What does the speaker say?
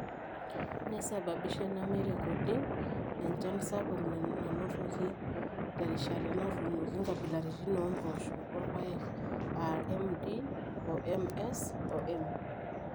Neisababisha ena meirrekodi enchan sapuk nanotoki terishata natuunoki nkabilaritin oompoosho orpaek aa MD o MS o M.